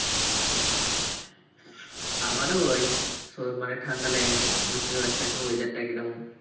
আমার ওই মানে ঠান্ডা লেগেছে বুঝতে তো পারছি weather টা কী রকম।